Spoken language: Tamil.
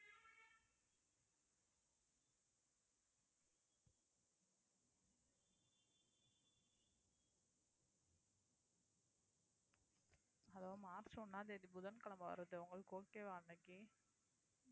மார்ச் ஒண்ணாம் தேதி புதன்கிழமை வருது உங்களுக்கு okay வா இன்னைக்கு